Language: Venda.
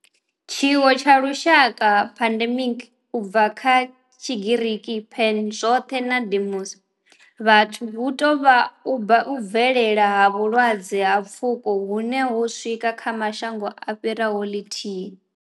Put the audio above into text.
Tshiwo tsha lushaka pandemic u bva kha tshigiriki pan zwothe na demos vhathu hu tou vha u bvelela ha vhulwadze ha pfuko hune ho swika kha mashango a fhiraho lithihi.